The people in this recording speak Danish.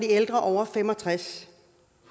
ældre over fem og tres